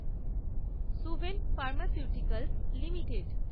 Suven pharmaceuticals limited